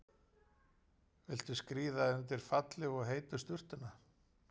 Viltu skríða undir fallegu og heitu sturtuna?